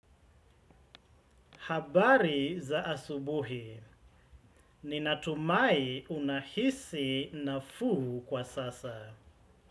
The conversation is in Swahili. Habari za asubuhi? Ninatumai unahisi nafuu kwa sasa.